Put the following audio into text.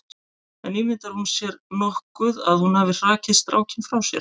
En ímyndar hún sér nokkuð að hún hafi hrakið strákinn frá sér?